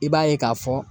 I b'a ye k'a fɔ